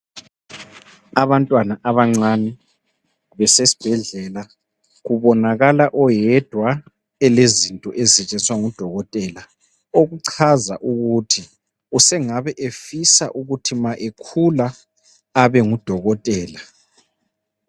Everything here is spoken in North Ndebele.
Abantwana abancane besesbhedlela kubonakala oyedwa elezinto ezisetshenziswa ngudokotela okucaza ukuthi sengabe efisa ukuthi ma ekhula abe ngudokotela